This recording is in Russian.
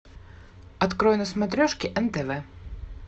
открой на смотрешке нтв